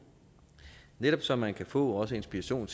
netop så man også kan få inspiration